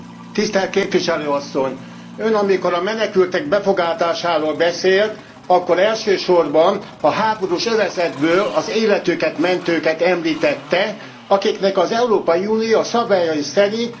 Ön, amikor a menekültek befogadásáról beszélt, akkor elsősorban a háborús övezetből az életüket mentőket említette akiknek az Európai Unió a szabályai szerint biztosítja a menedéket.